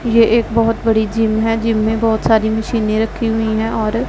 ये एक बहोत बड़ी जिम है जिम में बहोत सारी मशीने रखी हुई है और--